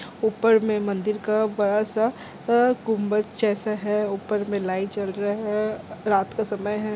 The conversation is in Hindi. ऊपर में मंदिर का बड़ा-सा आ गुम्बंद जैसा है ऊपर में लाइट जल रहा है रात का समय है।